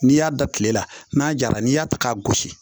N'i y'a da kile la n'a jara n'i y'a ta k'a gosi